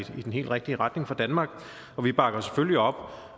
i den helt rigtige retning for danmark vi bakker selvfølgelig op